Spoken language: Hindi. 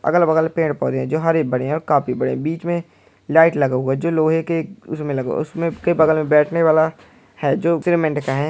अगल बगल पेड़ पौधे हैं जो हरे भरे और काफी बड़े है। बीच में लाइट लगा हुआ है जो लोहे के उसमे लगा हुआ है। उसमे के बगल मे बैठने वाला है जो का है।